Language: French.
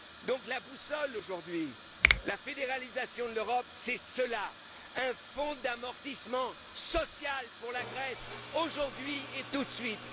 pas. Donc, la boussole aujourd'hui, la fédéralisation de l'Europe, c'est cela un fonds d'amortissement social pour la Grèce, aujourd'hui et tout de